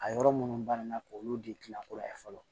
A yɔrɔ minnu ban na k'olu de kila kura ye fɔlɔ